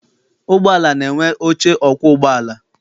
Ụgbọala na-enwe oche ọkwọ ụgbọala.